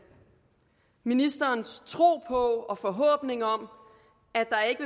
ministerens tro på og forhåbning om at der ikke